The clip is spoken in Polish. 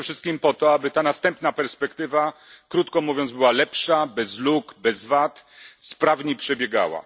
Przede wszystkim po to, aby następna perspektywa, krótko mówiąc, była lepsza, bez luk, bez wad, aby sprawniej przebiegała.